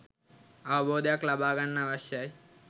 අවබෝධයක් ලබා ගන්න අවශ්‍යයි